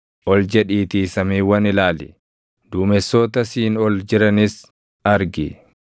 Ol jedhiitii samiiwwan ilaali; duumessoota siin ol jiranis argi.